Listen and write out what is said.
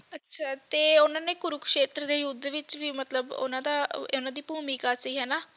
ਅੱਛਾ ਤੇ ਉਨ੍ਹਾਂ ਨੇ ਕੁਰਕਸ਼ੇਤਰ ਦੇ ਯੁੱਧ ਵਿੱਚ ਵੀ ਮਤਲਬ ਉਨ੍ਹਾਂ ਦਾ ਉਨ੍ਹਾਂ ਦੀ ਭੂਮਿਕਾ ਸੀ ਹੈ ਨਾ